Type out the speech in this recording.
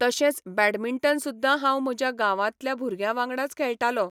तशेंच बॅडमिंटन सुद्दां हांव म्हज्या गांवांतल्या भुरग्यां वांगडाच खेळटालों.